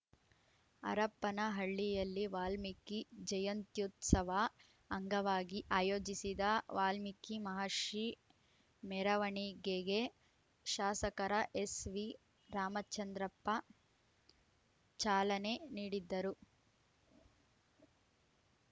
ಹರಪನಹಳ್ಳಿಯಲ್ಲಿ ವಾಲ್ಮೀಕಿ ಜಯಂತ್ಯುತ್ಸವ ಅಂಗವಾಗಿ ಆಯೋಜಿಸಿದ್ದ ವಾಲ್ಮೀಕಿ ಮಹರ್ಷಿ ಮೆರವಣಿಗೆಗೆ ಶಾಸಕರ ಎಸ್‌ವಿ ರಾಮಚಂದ್ರಪ್ಪ ಚಾಲನೆ ನೀಡಿದ್ದ ರು